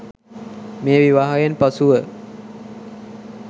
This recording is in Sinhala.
මේ විවාහයෙන් පසුව